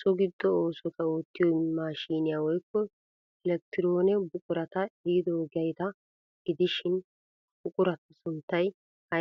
so giddo oosota oottiyo maashiniya woykko elekkitiroone buqurata ehidoogeeta gidishin ha buquraa sunttay aybee?